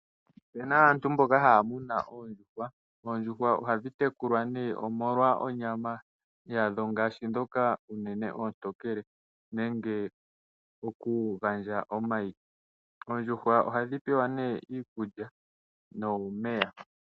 Ope na aantu mboka ha tekula oondjuhwa. Oondjuhwa ohadhi tekulilwa nee omolwa onyama yadho ngaashi ndhoka unene ontokele nenge okugandja omayi. Oondjuhwa ohadhi pewa nee iikulya nomeya.